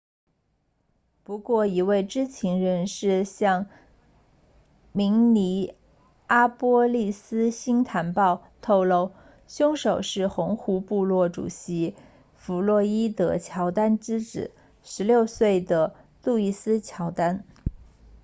不过一位知情人士向明尼阿波利斯星坛报透露凶手是红湖部落 red lake tribal 主席弗洛伊德乔丹 floyd jourdain 之子16岁的路易斯乔丹 louis jourdain